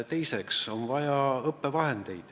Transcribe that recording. Teiseks on vaja õppevahendeid.